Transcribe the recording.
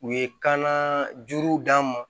U ye kan juru d'an ma